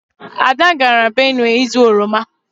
Ada gara Benue izu oroma.